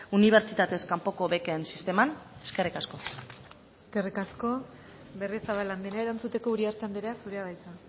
unibertsitatez kanpoko beken sisteman eskerrik asko eskerrik asko berriozabal andrea erantzuteko uriarte andrea zurea da hitza